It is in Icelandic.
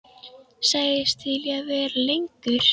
Sagðist til í að vera lengur.